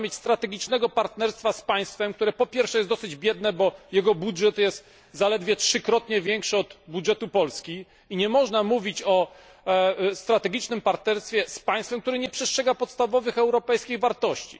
Nie można mieć strategicznego partnerstwa z państwem, które po pierwsze jest dosyć biedne, bo jego budżet jest zaledwie trzykrotnie większy od budżetu Polski, i nie można mówić o strategicznym partnerstwie z państwem, które nie przestrzega podstawowych europejskich wartości.